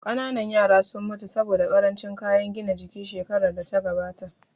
Ƙanana yaran sun mutu saboda ƙarancin kayan gina jiki shekarar da ta gabata